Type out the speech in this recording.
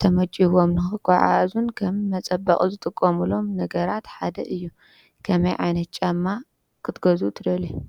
ተመችይዎም ንኽጎዓዓዙን ከም መፀበቂ ዝጥቀምሎም ነገራት ሓደ እዩ ። ከመይ ዓይነት ጫማ ክትገዝኡ ትደልዩ ።